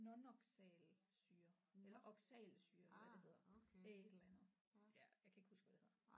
Non oxalsyre eller oxalsyre eller hvad det hedder et eller andet ja jeg kan ikke huske hvad det hedder